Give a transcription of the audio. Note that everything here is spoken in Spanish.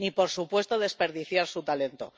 Ni, por supuesto, desperdiciar su talento.